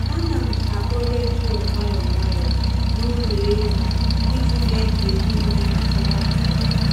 A na m akpọ redio nwayọ nwayọ n’ụlọ ehi iji mee ka ehi nwee ntụrụndụ.